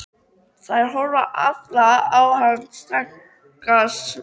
Þær horfa allar á hann strangar á svip.